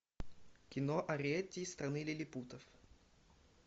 кино ариэтти из страны лилипутов